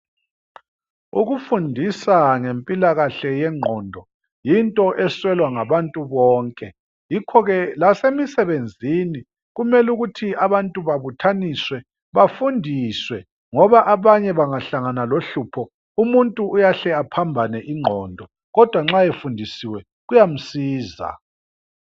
Ukufundisa ngempilakahle yengqondo yinto eswelwa ngabantu bonke. Yikhoke lasemisebenzini kumelukuthi abantu babuthaniswe bafundiswe .Ngoba abanye bangahlangana lohlupho umuntu uyahle aphambane ingqondo .Kodwa nxa efundisiwe kuyasiza.